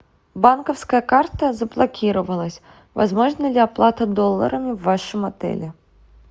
банковская карта заблокировалась возможна ли оплата долларами в вашем отеле